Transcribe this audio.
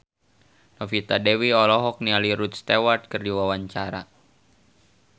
Novita Dewi olohok ningali Rod Stewart keur diwawancara